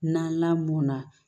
Na lamɔn na